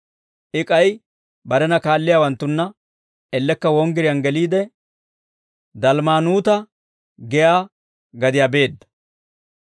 I k'ay barena kaalliyaawanttunna ellekka wonggiriyaan geliide, Dalmmanutaa giyaa gadiyaa beedda.